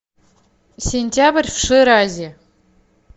сентябрь в ширазе